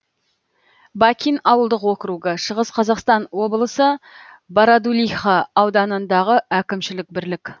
бакин ауылдық округі шығыс қазақстан облысы бородулиха ауданындағы әкімшілік бірлік